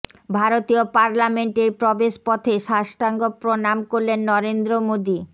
ভারতীয় পার্লামেন্টের প্রবেশ পথে শষ্টাঙ্গ প্রণাম করলেন নরেন্দ্র মোদী